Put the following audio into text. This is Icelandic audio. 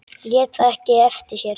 Lét það ekki eftir sér.